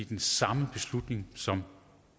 den samme beslutning som